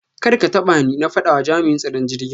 Karkatabani! na fada ma jam'in tsaron jirgin.